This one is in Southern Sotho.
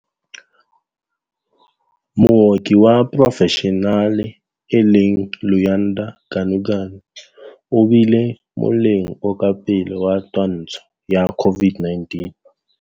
Mooki wa porofeshenale e leng Luyanda Ganuganu o bile moleng o ka pele wa twantsho ya COVID-19.